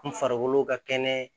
N farikolo ka kɛnɛ